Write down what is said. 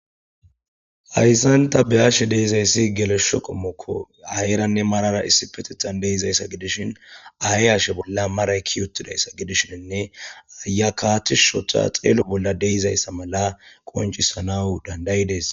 Hayssan ta be7ashe dizayssi gelosho qommokko aayeranne mararar issippetethan dishin aaye hashe bolla maray keyi utidayssa gidishinnine aayiyakka tishi oothada xelo bolla de7izayssa mala qonccissanaw danda7ides.